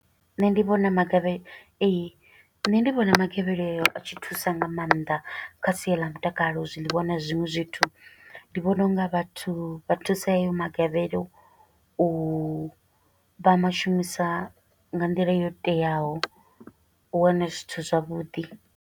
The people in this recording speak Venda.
Nṋe ndi vhona magavhe. Ee, nṋe ndi vhona magavhelelo a tshi thusa nga maanḓa kha sia ḽa mutakalo, zwiḽiwa na zwiṅwe zwithu. Ndi vhona unga vhathu vha thusa hayo magavhelo, u vha mashumisa nga nḓila yo teaho, u wane zwithu zwavhuḓi.